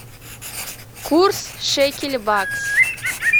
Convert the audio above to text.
курс шекель бакс